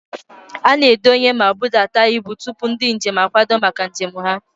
A na-adọ́nye ma budata ibu tupu ndị njem akwado maka njem ha